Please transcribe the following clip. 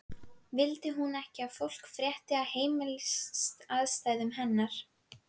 Vildi hún ekki að fólk frétti um heimilisaðstæður hennar?